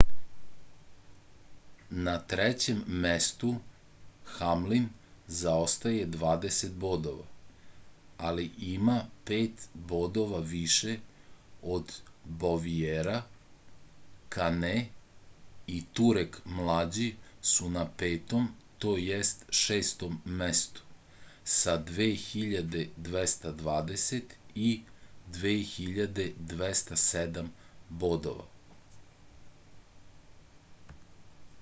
na trećem mestu hamlin zaostaje dvadeset bodova ali ima pet bodova više od boviera kane i truek mlađi su na petom to jest šestom mestu sa 2.220 i 2.207 bodova